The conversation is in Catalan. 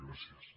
gràcies